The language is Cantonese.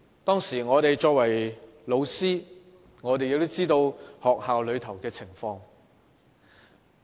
當時我們作為老師的，都知道學校內的情況。